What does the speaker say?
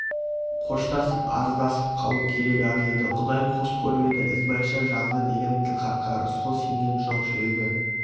қоштасып арыздасып қалу керек-ақ еді құдай қос көрмеді ізбайша жазды деген тілхатқа рысқұл сенген жоқ жүрегі